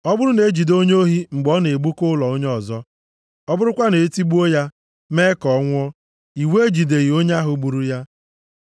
“Ọ bụrụ na e jide onye ohi mgbe ọ na-egbuka ụlọ onye ọzọ, ọ bụrụkwa na e tigbuo ya, mee ka ọ nwụọ, iwu ejideghị onye ahụ gburu ya.